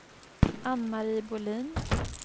Anne-Marie Bohlin